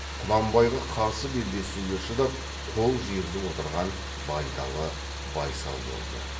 құнанбайға қарсы белдесуге шыдап қол жиғызып отырған байдалы байсал болды